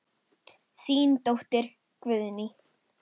Þín dóttir, Guðný.